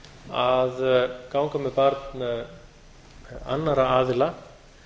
að ganga með barn annarra aðila